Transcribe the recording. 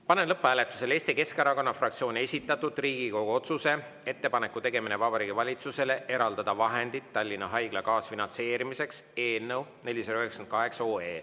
Panen lõpphääletusele Eesti Keskerakonna fraktsiooni esitatud Riigikogu otsuse "Ettepaneku tegemine Vabariigi Valitsusele eraldada vahendid Tallinna Haigla kaasfinantseerimiseks" eelnõu 498.